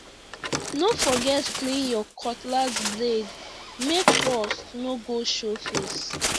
no forget clean your cutlass blade make rust no go show face